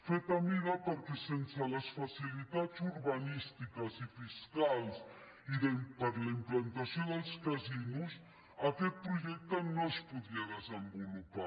fet a mida perquè sense les facilitats urbanístiques i fiscals i per a la implantació dels casinos aquest projecte no es podria desenvolupar